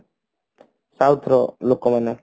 south ର ଲୋକମାନେ